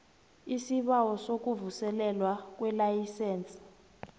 isibawo sokuvuselelwa kwelayisense